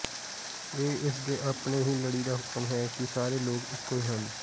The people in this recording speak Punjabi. ਇਹ ਇਸ ਦੇ ਆਪਣੇ ਹੀ ਲੜੀ ਦਾ ਹੁਕਮ ਹੈ ਕਿ ਸਾਰੇ ਲੋਕ ਇੱਕੋ ਹੀ ਹਨ